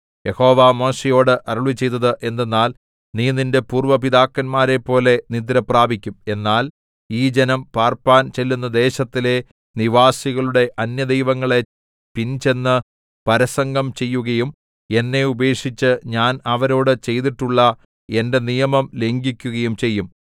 യഹോവ മോശെയോട് അരുളിച്ചെയ്തത് എന്തെന്നാൽ നീ നിന്റെ പൂര്‍വ്വ പിതാക്കന്മാരെപ്പോലെ നിദ്രപ്രാപിക്കും എന്നാൽ ഈ ജനം പാർപ്പാൻ ചെല്ലുന്ന ദേശത്തിലെ നിവാസികളുടെ അന്യദൈവങ്ങളെ പിൻചെന്ന് പരസംഗം ചെയ്യുകയും എന്നെ ഉപേക്ഷിച്ച് ഞാൻ അവരോടു ചെയ്തിട്ടുള്ള എന്റെ നിയമം ലംഘിക്കുകയും ചെയ്യും